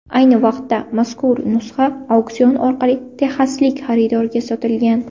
Ayni vaqtda mazkur nusxa auksion orqali texaslik xaridorga sotilgan.